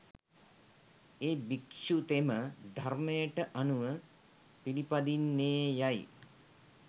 ඒ භික්‍ෂුතෙම ධර්‍මයට අනුව පිළිපදින්නේයයි